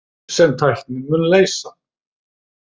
Sem tæknin mun leysa.